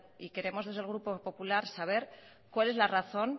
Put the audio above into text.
y queremos desde el grupo popular saber cuál es la razón